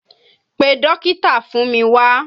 Pe dókítà fún mi wá!